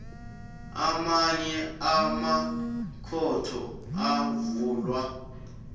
amanye amakhotho avulwa